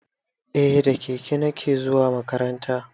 Eh da keke nake zuwa makaranta